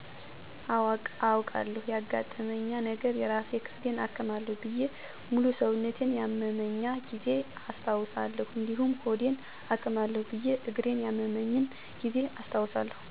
አወ አውቃለሁ ያገጠመኛ ነገረ የራስ ክፍሌን አክማለሁ ብየ ሙሉ ሰውነቴን ያመመኛ ጊዜ አስታውሳለሁ እዲሁም ሆዴን አክማለሁ ብየ እግሪን ያመመኝን ጊዜ አስታውሳለሁ።